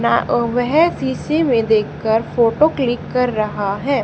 ना अ वेह शीशे में देख कर फोटो क्लिक कर रहा है।